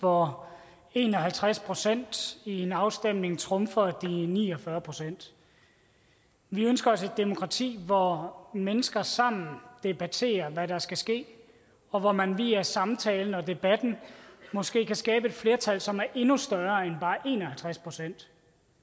hvor en og halvtreds procent i en afstemning trumfer de ni og fyrre procent vi ønsker os et demokrati hvor mennesker sammen debatterer hvad der skal ske og hvor man via samtalen og debatten måske kan skabe et flertal som er endnu større end bare en og halvtreds procent